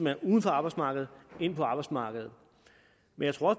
er uden for arbejdsmarkedet ind på arbejdsmarkedet men jeg tror